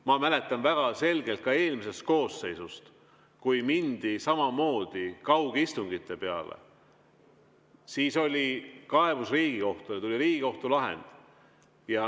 Ma mäletan väga selgelt ka eelmisest koosseisust, kui mindi kaugistungite peale, siis oli kaebus Riigikohtule ja tuli Riigikohtu lahend.